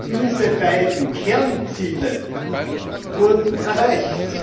Diese beiden Kernziele wurden erreicht!